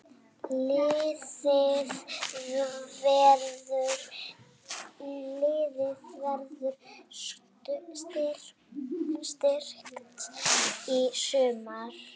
Liðið verður styrkt í sumar.